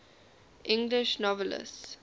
english novelists